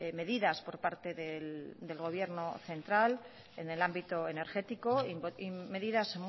medidas por parte del gobierno central en el ámbito energético y medidas